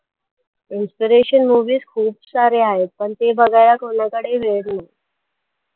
inspiration movies खूप सारे आहेत पण ते बघायला कोणाकडेही वेळ नाही